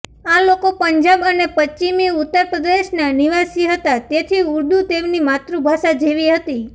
આ લોકો પંજાબ અને પશ્ચિમિ ઉત્તર પ્રદેશના નિવાસી હતા તેથી ઉર્દૂ તેમની માતૃભાષા જેવી હતી